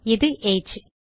இது ஏஜ்